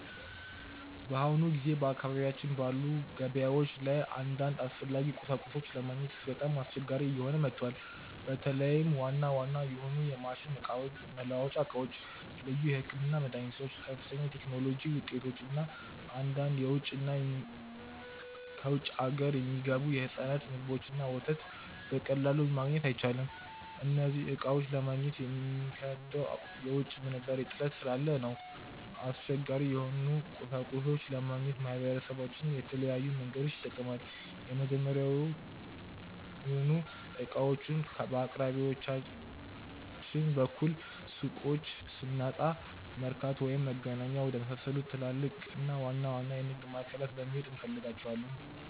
በአሁኑ ጊዜ በአካባቢያችን ባሉ ገበያዎች ላይ አንዳንድ አስፈላጊ ቁሳቁሶችን ለማግኘት በጣም አስቸጋሪ እየሆነ መጥቷል። በተለይም ዋና ዋና የሆኑ የማሽን መለዋወጫ ዕቃዎች፣ ልዩ የሕክምና መድኃኒቶች፣ ከፍተኛ የቴክኖሎጂ ውጤቶች እና አንዳንድ ከውጭ አገር የሚገቡ የሕፃናት ምግቦችንና ወተት በቀላሉ ማግኘት አይቻልም። እነዚህን ዕቃዎች ለማግኘት የሚከብደው የውጭ ምንዛሬ እጥረት ስላለ ነው። አስቸጋሪ የሆኑ ቁሳቁሶችን ለማግኘት ማህበረሰባችን የተለያዩ መንገዶችን ይጠቀማል። መጀመሪያውኑ ዕቃዎቹን በአቅራቢያችን ባሉ ሱቆች ስናጣ፣ መርካቶ ወይም መገናኛ ወደመሳሰሉ ትላልቅና ዋና ዋና የንግድ ማዕከላት በመሄድ እንፈልጋቸዋለን።